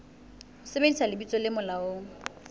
ho sebedisa lebitso le molaong